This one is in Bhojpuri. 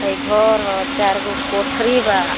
हय घर ह चार गो कोठरी बा।